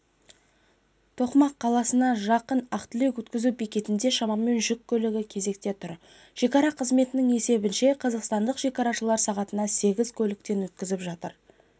тоқмақ қаласына жақын ақ-тілек өткізу бекетінде шамамен жүк көлігі кезекте тұр шекара қызметінің есебінше қазақстандық шекарашылар сағатына сегіз көліктен өткізіп жатыр